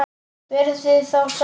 Verið þið þá sæl!